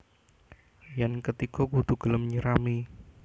Yén ketiga kudu gelem nyirami